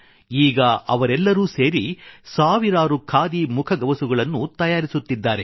ಈಗ ಅವರೆಲ್ಲರೂ ಸೇರಿ ಸಾವಿರಾರು ಖಾದಿ ಮುಖಗವಸುಗಳನ್ನು ತಯಾರಿಸುತ್ತಿದ್ದಾರೆ